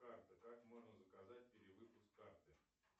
как можно заказать перевыпуск карты